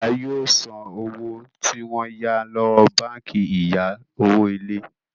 ìyá yóò so owó tí wón yá lówó bánkì ìya owo ilé.